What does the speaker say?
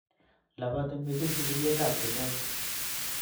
Labatii missing sigiryetab chumbek